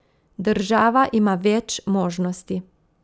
Država ima več možnosti.